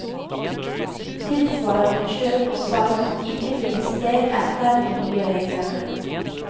Tilsvarende kjøp og salg må ikke finne sted etter de nye reglene.